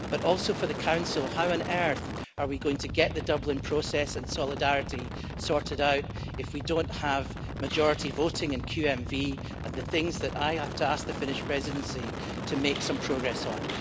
Also for the Council, how on earth are we going to get the Dublin process and solidarity sorted out if we don't have majority voting and qualified majority voting and the things that I have to ask the Finnish Presidency to make some progress on?